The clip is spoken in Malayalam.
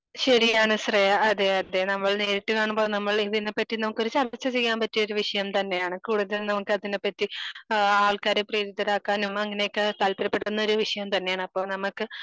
ശരിയാണ് ശ്രേയാ അതെ അതെ നമ്മൾ നേരിട്ട് കാണുമ്പോൾ നമ്മള് ഇതിനെ പറ്റി നമുക്കൊരു ചർച്ച ചെയ്യാൻ പറ്റിയ ഒരു വിഷയം തന്നെയാണ്. കൂടുതൽ നമുക്കതിനെപ്പറ്റി ആഹ് ആൾക്കാരെ പ്രാപ്തരാക്കാനും അങ്ങനെയൊക്കെ താല്പര്യപ്പെടുന്ന ഒരു വിഷയം തന്നെയാണ്. അപ്പൊ നമ്മക്ക്